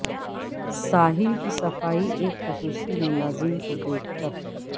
ساحل کی صفائی ایک خصوصی ملازم کو دیکھ کر